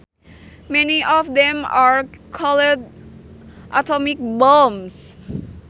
Many of them are called atomic bombs